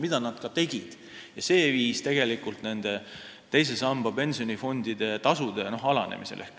Seda nad ka tegid ja see viis tegelikult teise samba pensionifondide tasude alanemisele.